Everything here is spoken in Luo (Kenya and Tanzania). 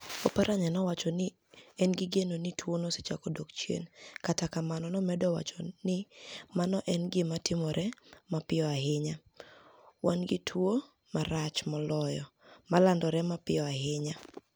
Oparaniya nowacho ni eni gi geno ni "tuwono osechako dok chieni" kata kamano nomedo wacho ni mano eni gima timore mapiyo ahiniya - "wani gi tuwo marach moloyo ma lanidore mapiyo ahiniya".